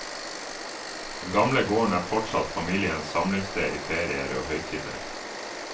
Den gamle gården er fortsatt familiens samlingssted i ferier og høytider.